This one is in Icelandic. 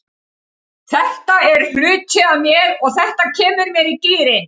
Þetta er hluti af mér og þetta kemur mér í gírinn.